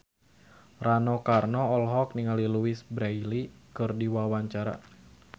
Rano Karno olohok ningali Louise Brealey keur diwawancara